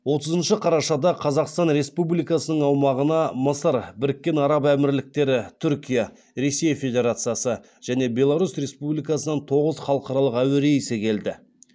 отызыншы қарашада қазақстан республикасының аумағына мысыр біріккен араб әмірліктері түркия ресей федерациясы және беларусь республикасынан тоғыз халықаралық әуе рейсі келді